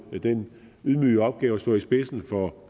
den ydmyge opgave at stå i spidsen for